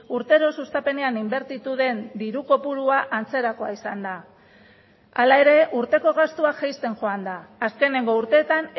urtero sustapenean inbertitu den diru kopurua antzerakoa izan da hala ere urteko gastua jaisten joan da azkeneko urteetan